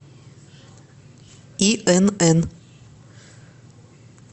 инн